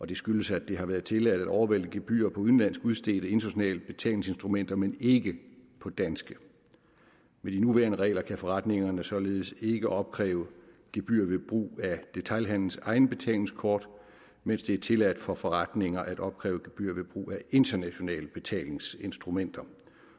det skyldes at det har været tilladt at overvælte gebyrer på udenlandsk udstedte internationale betalingsinstrumenter men ikke på danske med de nuværende regler kan forretningerne således ikke opkræve gebyr ved brug af detailhandelens egne betalingskort mens det er tilladt for forretninger at opkræve gebyrer ved brug af internationale betalingsinstrumenter